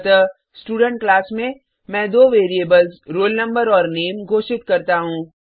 अतः student class में मैं दो वेरिएबल्स रोल नंबर और नामे घोषित करता हूँ